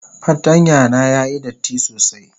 fartanya na yayi datti sosai.